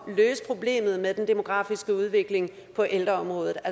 vil løse problemet med den demografiske udvikling på ældreområdet